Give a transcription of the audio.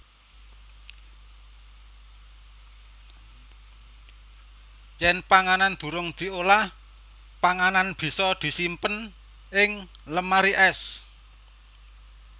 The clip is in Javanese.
Yèn panganan durung diolah panganan bisa disimpen ing lemari ès